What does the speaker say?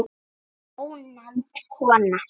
Ónefnd kona: Ég?